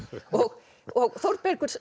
og og Þórbergur